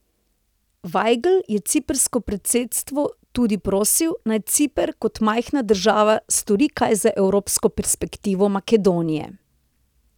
Vajgl je ciprsko predsedstvo tudi prosil, naj Ciper kot majhna država stori kaj za evropsko perspektivo Makedonije.